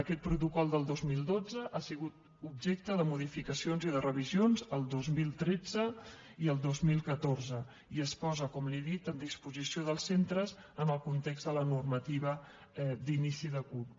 aquest protocol del dos mil dotze ha sigut objecte de modificacions i de revisions el dos mil tretze i el dos mil catorze i es posa com li he dit a disposició dels centres en el context de la normativa d’inici de curs